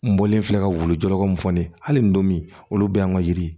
N bɔlen filɛ ka wulu jɔyɔrɔ mun fɔ ne ye hali nin don min olu bɛ an ka yiri